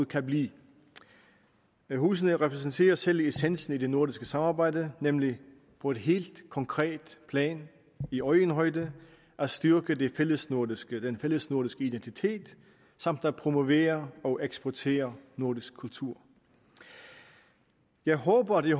kan blive husene repræsenterer selve essensen i det nordiske samarbejde nemlig på et helt konkret plan i øjenhøjde at styrke den fællesnordiske den fællesnordiske identitet samt at promovere og eksportere nordisk kultur jeg håber at